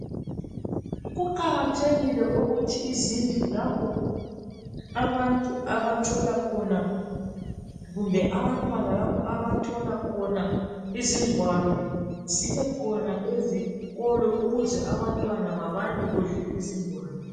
kuqakathekile ukuthi izindlu lapha abantu abathola khona kumbe abantwana lapho abathola khona izigwalo zibekhona ezikolo ukuze abantwana babalekuhle izigwalo.